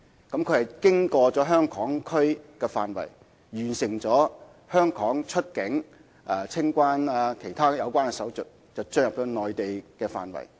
旅客是在香港的範圍內完成香港的出境及清關手續後才進入內地管制的範圍。